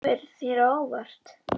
Þetta kemur þér á óvart.